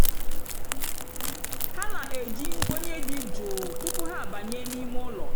há nà-éjí nkwényé dị́ jụ́ụ́ túpú há àbányé n'ímé ụ́lọ̀.